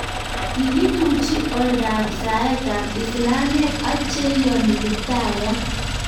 kikituchi oldab saetab islamik ak che iyoni Kiptayat